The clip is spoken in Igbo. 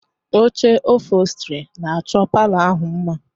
Oche ọpholstri na-achọ palọ ahụ mma